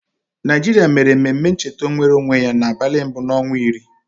Naịjịrịa mere ememe ncheta nwereonwe ya n'abalị mbụ n'ọnwa iri.